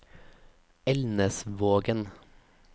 Elnesvågen